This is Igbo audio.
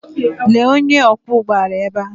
Lee onye ọkwọ ụgbọ ala ebe a.